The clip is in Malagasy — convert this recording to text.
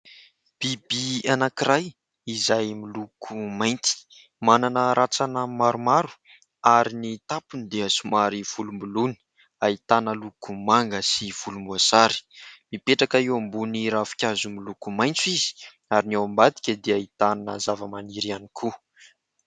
Biby anankiray izay miloko mainty. Manana ratsana maromaro ary ny tampony dia somary volomboloina, ahitana loko manga sy volomboasary. Mipetraka eo ambony ravinkazo miloko maitso izy ary ny ao ambadika dia ahitana zavamaniry ihany koa.